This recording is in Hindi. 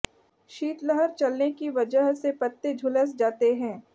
शीतलहर चलने की वजह से पत्ते झुलस जाते हैं